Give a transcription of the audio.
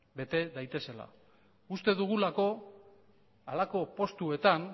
bete daitezela uste dugulako halako postuetan